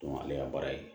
ale ka baara ye